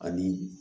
Ani